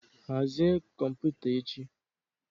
Hazie kọmputa echi